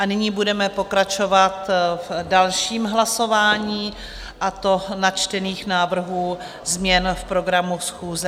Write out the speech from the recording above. A nyní budeme pokračovat v dalším hlasování, a to načtených návrhů změn v programu schůze.